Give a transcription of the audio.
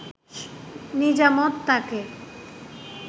নিজামত তাকে